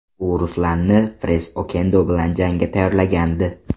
U Ruslanni Fres Okendo bilan jangga tayyorlagandi.